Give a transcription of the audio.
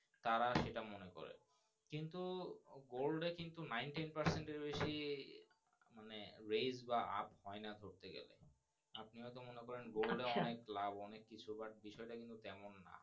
তারা সেটা মনে করে কিন্তু Gold এ কিন্তু Nintin percent এর বেশি বেশ বা এইনা ধরতে গেলে আপনি ও তো মনে করেন আচ্ছা Gold অনেক লাভ অনেক কিইছু বা বিষয় টা কিন্তু তেমন না।